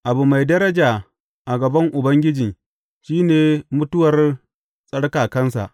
Abu mai daraja a gaban Ubangiji shi ne mutuwar tsarkakansa.